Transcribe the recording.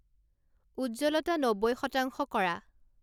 উজ্জ্বলতা নব্বৈ শতাংশ কৰা